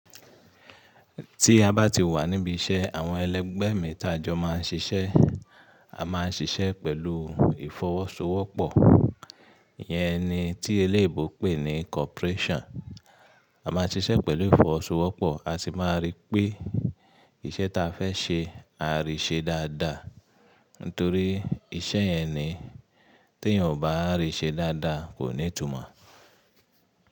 Tí a bá ti wà níbi iṣẹ́ àwọn ẹlẹ́gbẹ̀ẹ́ mi ta ẹjọ́ máa ń ṣiṣẹ́. A máa ń ṣiṣẹ́ pẹ̀lú ìfọwọ́sowọ́pọ̀. Yẹ́n ni tí eléébo pè ní corporation. A máa ṣiṣẹ́ pẹ̀lú ìfọwọ́sowọ́pọ̀, a sì máa rí pé iṣẹ́ ta fẹ́ ṣe a rí ṣe dáadáa. Nítorí iṣẹ́ yẹn ni tí èèyàn ò bá rí ṣe dáadáa kò ní tùmọ̀